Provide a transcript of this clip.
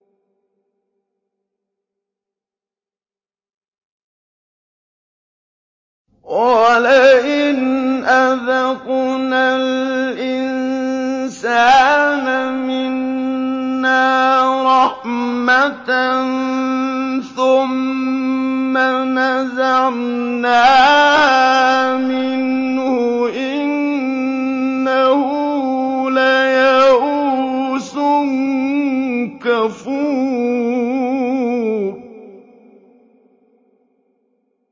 وَلَئِنْ أَذَقْنَا الْإِنسَانَ مِنَّا رَحْمَةً ثُمَّ نَزَعْنَاهَا مِنْهُ إِنَّهُ لَيَئُوسٌ كَفُورٌ